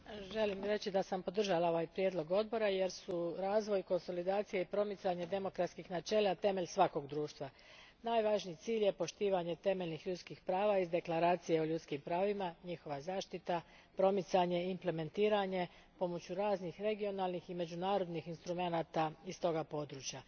Gospođo predsjedateljice, želim reći da sam podržala ovaj prijedlog odbora jer su razvoj, konsolidacija i promicanje demokratskih načela temelj svakog društva. Najvažniji cilj je poštovanje temeljnih ljudskih prava iz Deklaracije o ljudskim pravima, njihova zaštita, promicanje i implementiranje pomoću raznih regionalnih i međunarodnih instrumenata iz tog područja.